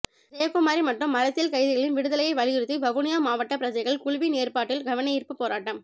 ஜெயக்குமாரி மற்றும் அரசியல் கைதிகளின் விடுதலையை வலியுறுத்தி வவுனியா மாவட்ட பிரஜைகள் குழுவின் ஏற்பாட்டில் கவனயீர்ப்பு போராட்டம்